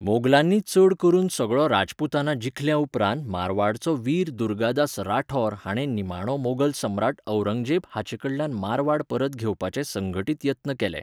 मोगलांनी चड करून सगळो राजपूताना जिखल्या उपरांत मारवाडचो वीर दुर्गादास राठौर हाणें निमाणो मोगल सम्राट औरंगजेब हाचेकडल्यान मारवाड परत घेवपाचे संघटीत यत्न केले.